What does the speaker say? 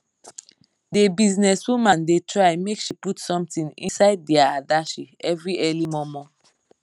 d business woman da try make she put something inside dia adashi every early momo